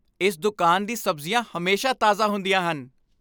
ਇਸ ਦੁਕਾਨ ਦੀ ਸਬਜ਼ੀਆਂ ਹਮੇਸ਼ਾ ਤਾਜ਼ਾ ਹੁੰਦੀਆਂ ਹਨ।